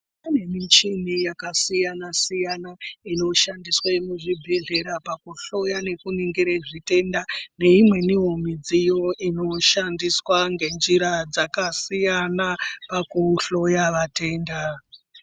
Pane michhini yakasiyana-siyana inoshandiswa muzvibhedhlera, pakuhloya nekuningire zvitenda. Neimweniwo midziyo inoshandiswa ngenjira dzakasiyana pakuhloya vatenda.